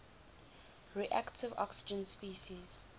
reactive oxygen species